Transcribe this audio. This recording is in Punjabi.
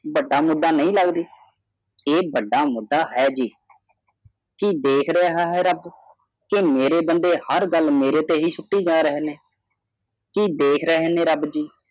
ਵੱਡਾ ਮੁੱਦਾ ਨਹੀਂ ਲੱਗਦੀ ਇਹ ਵੱਡਾ ਮੁੰਡਾ ਹੈ ਜੀ ਕੀ ਦੇਖ ਰਿਹਾ ਹੈ ਰੱਬ ਕੀ ਮੇਰੇ ਬਦਲੇ ਹਰ ਗੱਲ ਮੇਰੇ ਉੱਤੇ ਹੀ ਸੁੱਟੀ ਜਾ ਰਹੇ ਨੇ ਕੀ ਦੇਖ ਰਹੇ ਨੇ ਰੱਬ ਜੀ